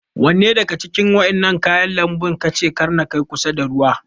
Wanne daga Cikin wadannan kayan lanbu kace Kar na Kai kusa da ruwa?